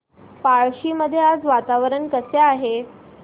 पळशी मध्ये आज वातावरण कसे आहे